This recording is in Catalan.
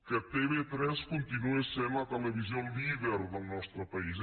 que tv3 continuï sent la televisió líder del nostre país